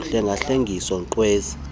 uhlenga hlengisiwe ngkwezi